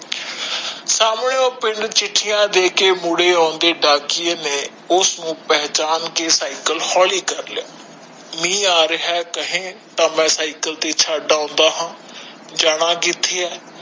ਸਾਮਣੇ ਉਹ ਪਿੰਡ ਮੁੜੇ ਆਉਂਦੇ ਡਾਕੀਏ ਨੇ ਉਸ ਨੂੰ ਸੰਨਿਊ ਅੰਡੇ ਨੂੰ ਪੋਹਿਚਾਨ ਕੇ ਸੀਕਲੇ ਹੋਲੀ ਕਰ ਲਿਆ ਮਹਿ ਆਉਂਦਾ ਕਹੇ ਤਾ ਮੈਂ ਛੱਡ ਆਉਂਦਾ ਜਾਣਾ ਕਿਥੇ ਆ